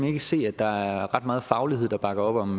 ikke se at der er ret meget faglighed der bakker op om